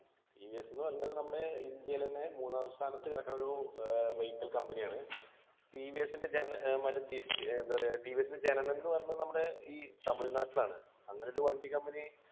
T V S ന്നു പറഞ്ഞത് നമ്മുടെ ഇന്ത്യയിലെന്നെ മൂന്നാം സ്ഥാനത്ത് കിടക്കുന്നൊരു ഏർ vehicle company ആണ് ടി വി എസ് ൻ്റെ ജന ആഹ് മറ്റേ എന്താ പറയാ ടി വി എസ് ൻ്റെ ജനനംന്നു പറഞ്ഞ് നമ്മടെ ഈ തമിഴ്‌നാട്ടിലാണ് അങ്ങനെ ഒരു വണ്ടി company